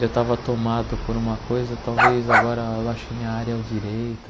Eu tava tomado por uma coisa, talvez agora eu ache que minha área é o direito.